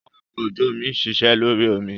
Awakọ̀ ojú omi ń ṣiṣẹ́ lórí omi.